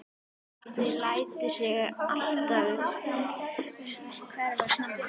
Addi lætur sig alltaf hverfa snemma.